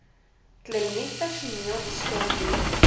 kliniekpersoneel staan moeders